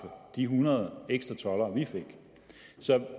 de hundrede ekstra toldere vi fik så